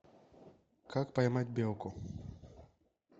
как поймать белку